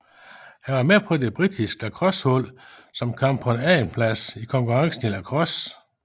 Han var med på det britiske lacrossehold som kom på en andenplads i konkurrencen i lacrosse